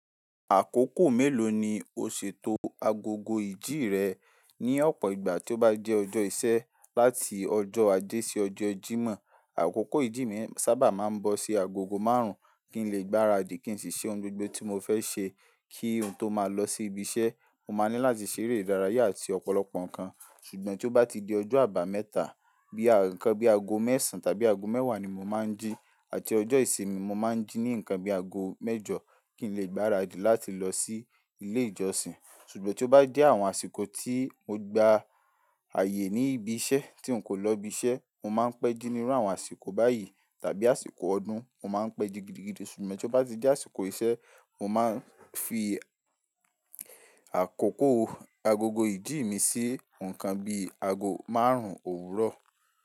Àkókò mélòó ni o ṣètò agogo ìjí rẹ ní ọ̀pọ̀ ìgbà tí ó bá jẹ́ ọjọ́ iṣẹ́ láti ọjọ́ ajé sí ọjọ́ Jímọ̀? Àkókò ìjí mi sábà máa ń bọ sí agogo márùn-ún kí n lè gbára dí kí n sì ṣe ohun gbogbo tí mo fẹ́ ṣe kí n tó máa lọ sí ibi iṣẹ́. Mo máa ní láti ṣèrè ìdárayá àti ọ̀pọ̀lọpọ̀ nǹkan. Ṣùgbọ́n tí ó bá ti di ọjọ́ àbámẹ́ta bí ànǹkan bí ago mẹ́sàn tàbí ago mẹ́wàá ni mo máa ń jí àti ọjọ́ ìsinmi mo máa ń jí ní nǹkan bí ago mẹ́jọ kí n lè gbára dí láti lọ sí ilé ìjọsìn. Ṣùgbọ́n tí ó bá jẹ́ àwọn àsìkò tí mo gba ààyè ní ibi iṣẹ́ tí n kò lọ ibi iṣẹ́, mo máa ń pẹ́ jí nínú àwọn àsìkò báyìí tàbí àsìkò ọdún, mo máa ń pẹ́ digidigidi. Ṣùgbọ́n tí ó bá ti di àsìkò iṣẹ́, mo máa ń fi àkókò agogo ìdí mi sí nǹkan bí ago márùn-ún òwúrọ̀.